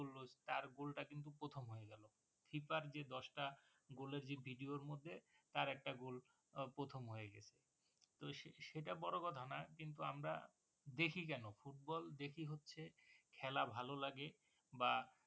তার goal টা কিন্তু প্রথম হয়ে গেলো keeper যে দশটা goal এর যে video র মধ্যে তার একটা goal আহ প্রথম হয়ে গেছে তো সেটা বড়ো কথা নয় কিন্তু আমরা দেখি কেন football দেখি হচ্ছে খেলা ভালো লাগে বা